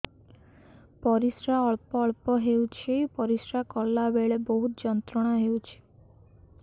ପରିଶ୍ରା ଅଳ୍ପ ଅଳ୍ପ ହେଉଛି ପରିଶ୍ରା କଲା ବେଳେ ବହୁତ ଯନ୍ତ୍ରଣା ହେଉଛି